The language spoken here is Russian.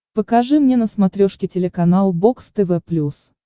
покажи мне на смотрешке телеканал бокс тв плюс